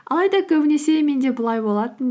алайда көбінесе менде бұлай болатын